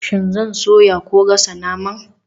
Shin zan soya ko gasa naman?